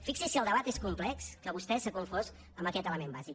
fixi’s si el debat és complex que vostè s’ha confós amb aquest element bàsic